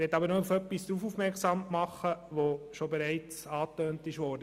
Ich möchte aber noch auf etwas aufmerksam machen, das bereits angetönt wurde.